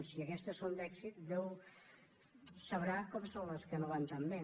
si aquestes són d’èxit déu sabrà com són les que no van tan bé